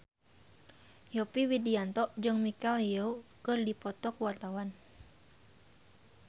Yovie Widianto jeung Michelle Yeoh keur dipoto ku wartawan